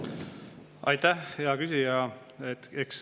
Aitäh, hea küsija!